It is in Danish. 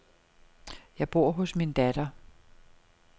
Jeg bor hos min datter.